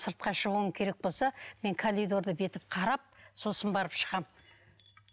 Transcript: сыртқа шығуым керек болса мен коридорда бүйтіп қарап сосын барып шығамын